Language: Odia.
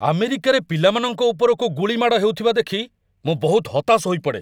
ଆମେରିକାରେ ପିଲାମାନଙ୍କ ଉପରକୁ ଗୁଳି ମାଡ଼ ହେଉଥିବା ଦେଖି ମୁଁ ବହୁତ ହତାଶ ହୋଇପଡ଼େ।